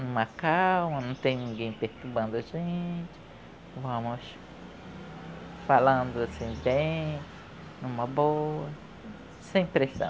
uma calma, não tem ninguém perturbando a gente, vamos falando assim bem, numa boa, sem pressão.